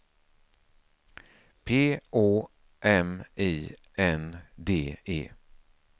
P Å M I N D E